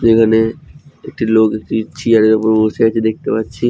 এখানে একটি লোক একটি চিয়ার এর উপর বসে আছে দেখতে পাচ্ছি।